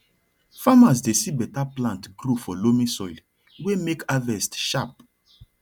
farmers dey see better plant grow for loamy soil wey make harvest sharp